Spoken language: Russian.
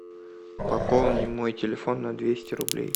пополни мой телефон на двести рублей